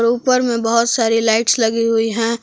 ऊपर में बहुत सारी लाईट्स लगी हुई हैं।